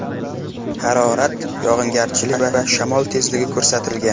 Harorat, yog‘ingarchilik va shamol tezligi ko‘rsatilgan.